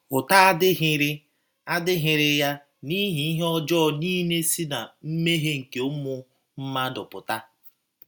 Ụta adịghịrị adịghịrị ya n’ihi ihe ọjọọ nile si ná mmehie nke ụmụ mmadụ pụta.